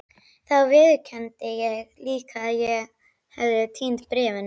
Þá viðurkenndi ég líka að ég hefði týnt bréfunum.